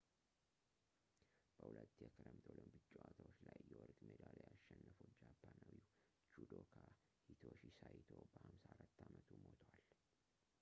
በሁለት የክረምት ኦሎምፒክ ጨዋታዎች ላይ የወርቅ ሜዳልያ ያሸነፈው ጃፓናዊው judoka hitoshi saito በ54 አመቱ ሞቷል